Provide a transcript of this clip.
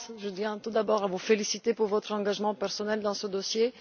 tiens tout d'abord à vous féliciter pour votre engagement personnel dans ce dossier.